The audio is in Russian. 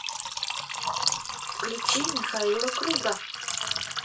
включи михаила круга